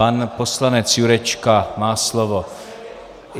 Pan poslanec Jurečka má slovo.